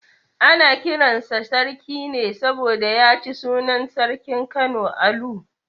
Ana kiran sa Sarki ne saboda ya ci sunan sarkin Kano Alu.